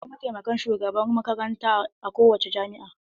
Akwai mataimakin shugaban makaranta a kowane jami'a.